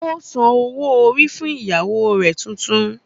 Ó san owó orí fún ìyàwó rẹ̀ tuntun